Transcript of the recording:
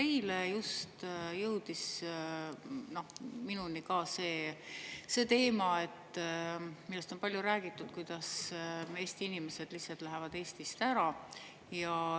Eile just jõudis minuni ka see teema, millest on palju räägitud, kuidas Eesti inimesed lihtsalt lähevad Eestist ära.